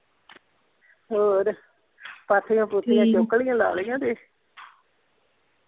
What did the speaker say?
ਹੋਰ ਪਾਥੀਆਂ ਪੂਥੀਆਂ ਚੁੱਕ ਲਈਆਂ ਲਾ ਲਈਆਂ ਜੇ?